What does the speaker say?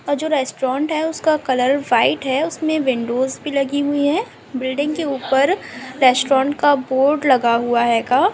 ये जो रेस्टुरेंट है उसका कलर वाइट है उसमे विंडोज भी लगी हुई है बिल्डिंग के ऊपर रेस्टोरेंट का बोर्ड लगा हुआ है आएगा--